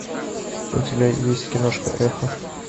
у тебя есть киношка эхо